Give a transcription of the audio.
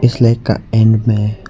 इस लेक का इंड में--